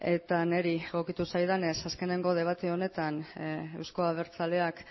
eta niri egokitu zaidanez azkenengo debate honetan eusko abertzaleak